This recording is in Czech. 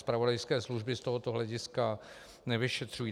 Zpravodajské služby z tohoto hlediska nevyšetřují.